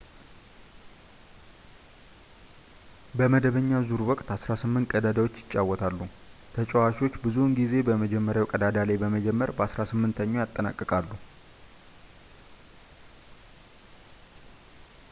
በመደበኛ ዙር ወቅት አስራ ስምንት ቀዳዳዎች ይጫወታሉ ፣ ተጫዋቾች ብዙውን ጊዜ በመጀመርያው ቀዳዳ ላይ በመጀመር በአሥራ ስምንተኛው ይጠናቀቃሉ